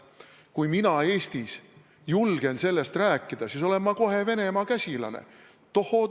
Aga kui mina Eestis julgen sellest rääkida, siis olen ma kohe Venemaa käsilane.